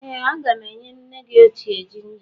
Ee a ga m enye nne gị ochie jinja.